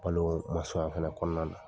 Balo fana kɔnɔna na.